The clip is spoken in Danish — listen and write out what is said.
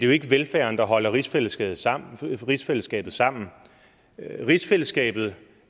jo ikke velfærden der holder rigsfællesskabet sammen rigsfællesskabet sammen rigsfællesskabet